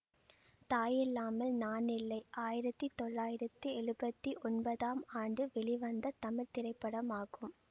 தாயில்லாமல் நானில்லை ஆயிரத்தி தொள்ளாயிரத்தி எழுவத்தி ஒன்பதாம் ஆண்டு வெளிவந்த தமிழ் திரைப்படமாகும்